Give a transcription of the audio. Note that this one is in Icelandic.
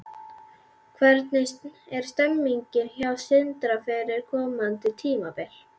Hvernig er stemningin hjá Sindra fyrir komandi tímabil?